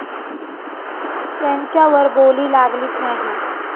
त्यांच्यावर बोली लागलीच नाही.